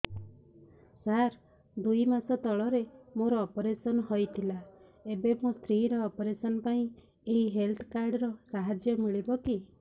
ସାର ଦୁଇ ମାସ ତଳରେ ମୋର ଅପେରସନ ହୈ ଥିଲା ଏବେ ମୋ ସ୍ତ୍ରୀ ର ଅପେରସନ ପାଇଁ ଏହି ହେଲ୍ଥ କାର୍ଡ ର ସାହାଯ୍ୟ ମିଳିବ କି